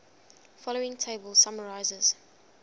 following table summarizes